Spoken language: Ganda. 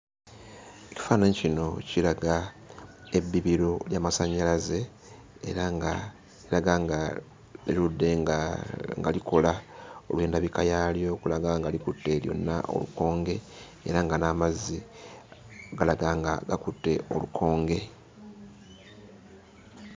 Ekifaananyi kino kiraga ebbibiro ly'amasannyalaze era nga liraga nga lirudde nga likola olw'endabika yaalyo okulaga nga likutte lyonna olukonge era nga n'amazzi galaga nga gakutte olukonge.